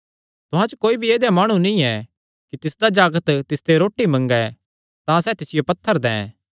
तुहां च कोई भी ऐदेया माणु नीं ऐ कि तिसदा जागत तिसते रोटी मंगे तां सैह़ तिसियो पत्थर दैं